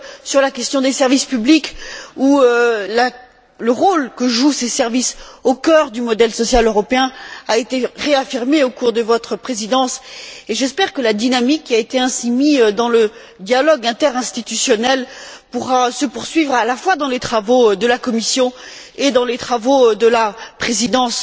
sur la question des services publics, puisque le rôle que jouent ces services au cœur du modèle social européen a été réaffirmé au cours de votre Présidence. J'espère que la dynamique qui a ainsi été insufflée dans le dialogue interinstitutionnel pourra se poursuivre à la fois dans les travaux de la Commission et dans les travaux de la Présidence